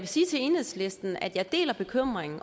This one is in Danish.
sige til enhedslisten at jeg deler bekymringen